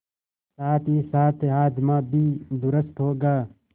साथहीसाथ हाजमा भी दुरूस्त होगा